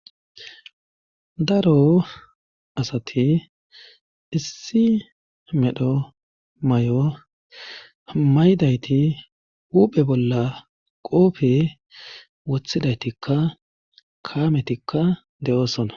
Daro asati issi medho may'o maydayti huuphe bolla qoofe wothidaytikka kaametikka de'oosona